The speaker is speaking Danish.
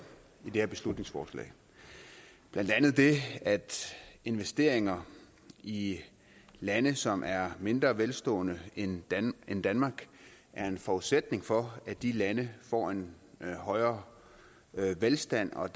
i det her beslutningsforslag blandt andet det at investeringer i lande som er mindre velstående end end danmark er en forudsætning for at de lande får en højere velstand og